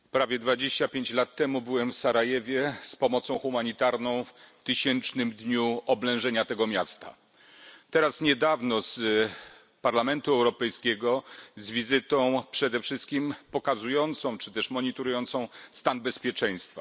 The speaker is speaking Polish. Panie Przewodniczący! Prawie 25 lat temu byłem w Sarajewie z pomocą humanitarną w tysięcznym dniu oblężenia tego miasta, teraz, niedawno z wizytą Parlamentu Europejskiego przede wszystkim pokazującą, czy też monitorującą stan bezpieczeństwa.